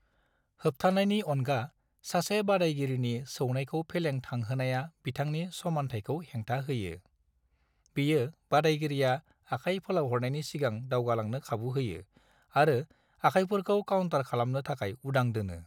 होबथानायनि अनगा, सासे बादायगिरिनि सौनायखौ फेलें थांहोनाया बिथांनि समानथायखौ हेंथा होयो, बेयो बादायगिरिया आखाय फोलावहरनायनि सिगां दावगालांनो खाबु होयो आरो आखायफोरखौ काउन्टार खालामनो थाखाय उदां दोनो।